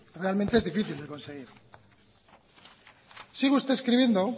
realmente es difícil de conseguir sigue usted escribiendo